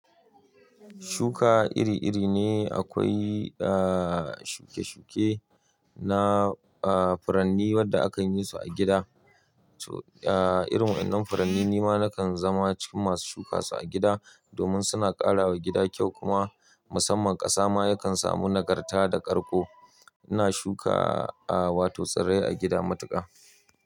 Shuka iri-iri ne akwai, shuke-shuke na furanni wanda a kan yi su a gida. To irin waɗannan furanni nima nakan zama cikin masu shuka su a gida domin suna ƙara wa gida kyau kuma musamman ƙasa ma yakan samu nagarta da ƙarko. Ina shuka wato tsirrai a gida matuƙa.